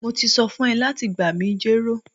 Mo ti so fun o lati gba mi jero